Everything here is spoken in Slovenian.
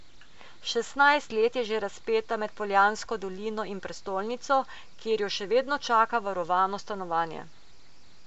Šestnajst let je že razpeta med Poljansko dolino in prestolnico, kjer jo še vedno čaka varovano stanovanje.